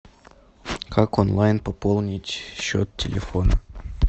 как онлайн пополнить счет телефона